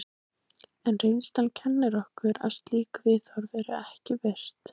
En reynslan kennir okkur að slík viðhorf eru ekki virt.